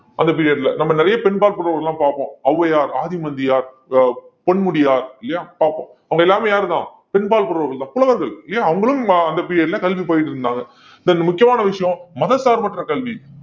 அந்த period ல நம்ம நிறைய பெண்பாற்புலவர்கள் எல்லாம் பார்ப்போம் ஔவையார், ஆதி மந்தையார் ஆஹ் பொன்முடியார் இல்லையா பாப்போம் அவங்க எல்லாமே யாரு தான் பெண்பாற்புலவர்கள் தான் புலவர்கள் ஏன் அவங்களும் அந்த period ல கல்விக்கு பயின்று இருந்தாங்க then முக்கியமான விஷயம் மதசார்பற்ற கல்வி